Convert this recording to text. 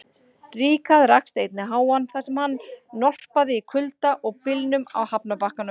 Ríkharð rakst einnig á hann, þar sem hann norpaði í kulda og byljum á hafnarbakkanum.